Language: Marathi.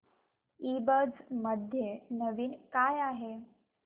ईबझ मध्ये नवीन काय आहे